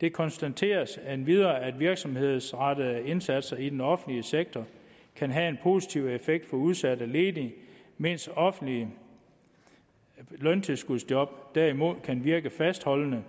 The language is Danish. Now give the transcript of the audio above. det konstateres endvidere at virksomhedsrettede indsatser i den offentlige sektor kan have en positiv effekt for udsatte ledige mens offentlige løntilskudsjob derimod kan virke fastholdende